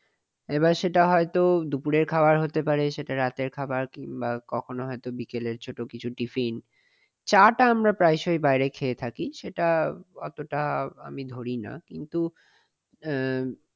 এবার সেটা হয়তো দুপুরের খাবার হতে পারে। রাতের খাবার কিংবা কখনো হয়তো বিকেলের ছোট কিছু টিফিন। চাটা আমরা প্রায় সময় বাইরে খেয়ে থাকি । সেটা অতটা আমি ধরি না কিন্তু আহ